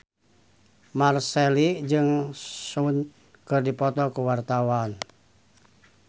Marchell jeung Sehun keur dipoto ku wartawan